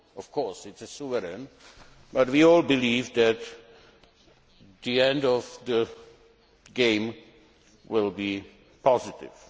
Of course, it is sovereign but we all believe that the outcome of the game will be positive.